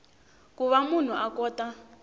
ku va munhu a kota